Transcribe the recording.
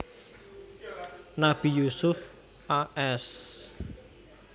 Nabi Yusuf a s